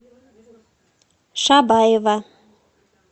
шабаева